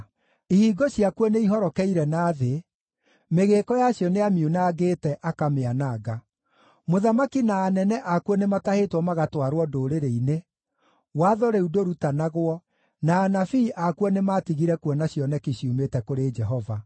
Ihingo ciakuo nĩihorokeire na thĩ; mĩgĩĩko yacio nĩamiunangĩte, akamĩananga. Mũthamaki na anene akuo nĩmatahĩtwo magatwarwo ndũrĩrĩ-inĩ, watho rĩu ndũrutanagwo, na anabii akuo nĩmatigire kuona cioneki ciumĩte kũrĩ Jehova.